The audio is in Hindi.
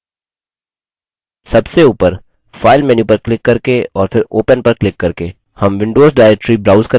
सबसे open file menu पर क्लिक करके और फिर open पर क्लिक करके